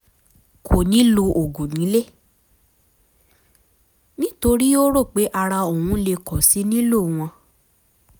kò ní lo oògùn nílé nítorí ó rò pé ara òun le kò sì nílò wọn